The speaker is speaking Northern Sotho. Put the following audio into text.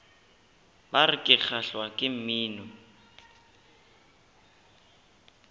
bar ke kgahlwa ke mmino